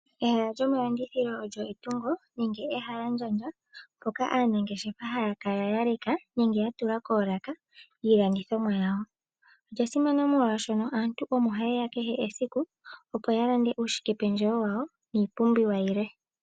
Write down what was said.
Ehala lyomalandithilo olyo etungo nenge ehalandjandja mpoka aanangeshefa haya kala ya leka nenge ya tula koolaka iilandithomwa yawo. Olya simana molwashoka aantu omo haye ya kehe esiku, opo ya lande uushikependjewo wawo niipumbiwa yilwe.